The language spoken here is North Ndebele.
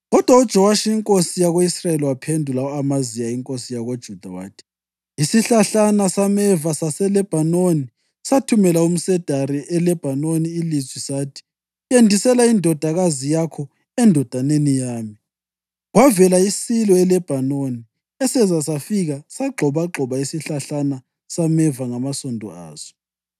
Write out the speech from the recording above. Kodwa uJowashi inkosi yako-Israyeli waphendula u-Amaziya inkosi yakoJuda wathi, “Isihlahlana sameva saseLebhanoni sathumela umsedari eLebhanoni ilizwi sathi, ‘Yendisela indodakazi yakho endodaneni yami.’ Kwavela isilo eLabhanoni eseza safika sagxobagxoba isihlahlana sameva ngamasondo aso.